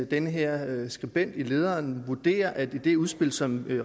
den her skribent i lederen vurderer at i det udspil som